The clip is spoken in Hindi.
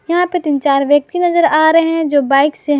यहां पे तीन चार व्यक्ति नजर आ रहे हैं जो बाइक से --